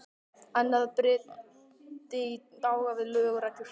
Annað bryti í bága við lög og reglur.